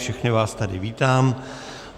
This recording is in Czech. Všechny vás tady vítám.